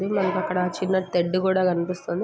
ఉమ్మ్ మనకి అక్కడ చిన్న టెడ్ కూడా కనిపిస్తుంది.